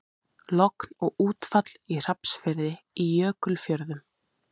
Logn og útfall í Hrafnsfirði í Jökulfjörðum.